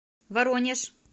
воронеж